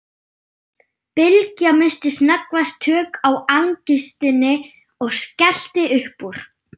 Bylgja missti snöggvast tök á angistinni og skellti upp úr.